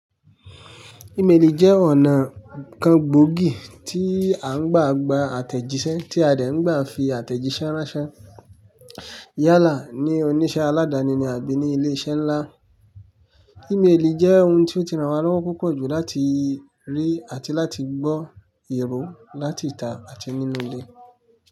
Emaili jẹ́ ọ̀nà kan gbogi tí a ń gbà gba àtẹ̀jíṣẹ́ tí a dẹ̀ ń gbà fi àtẹ̀jíṣẹ́ ránṣẹ́ yálà ní oníṣẹ́ aládàni ni àbí ní ilé iṣẹ́ ńlá. Emaili jẹ́ ohun tí ó ti ràn wá lọ́wọ́ púpọ̀ jù láti rí àti láti gbọ́ èrò láti ìta àti nínú ilé.